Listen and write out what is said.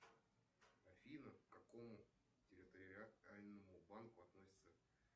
афина к какому территориальному банку относится